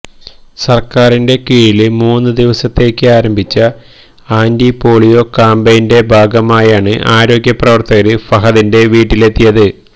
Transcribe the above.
സര്ക്കാരിന്റെ കീഴില് മൂന്നു ദിവസത്തേക്ക് ആരംഭിച്ച ആന്റിപോളിയോ ക്യാമ്പെയിന്റെ ഭാഗമായാണ് ആരോഗ്യപ്രവര്ത്തകര് ഫവദിന്റെ വീട്ടിലെത്തിയത്